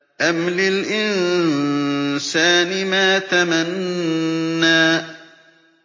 أَمْ لِلْإِنسَانِ مَا تَمَنَّىٰ